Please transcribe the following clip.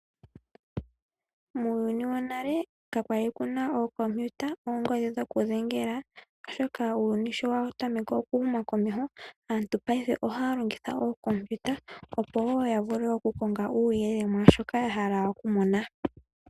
Muuyuni wonale ka kwali kuna okompiuta, oongodhi dhokudhengela oshoka uuyuni sho wa tameke okuhuma komeho aantu paife ohaya longitha okompiuta opo ya vule okukonga uuyelele mwashoka ya hala okumona.